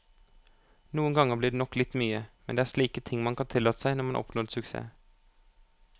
Noen gang blir det nok litt mye, men det er slike ting man kan tillate seg når man har oppnådd suksess.